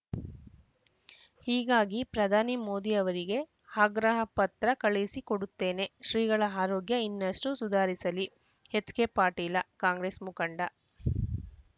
ಹೀಗಾಗಿ ಪ್ರಧಾನಿ ಮೋದಿ ಅವರಿಗೆ ಆಗ್ರಹ ಪತ್ರ ಕಳುಹಿಸಿ ಕೊಡುತ್ತೇನೆ ಶ್ರೀಗಳ ಆರೋಗ್ಯ ಇನ್ನಷ್ಟುಸುಧಾರಿಸಲಿ ಎಚ್‌ಕೆಪಾಟೀಲ ಕಾಂಗ್ರೆಸ್‌ ಮುಖಂಡ